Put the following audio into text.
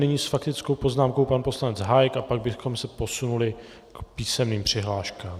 Nyní s faktickou poznámkou pan poslanec Hájek a pak bychom se posunuli k písemným přihláškám.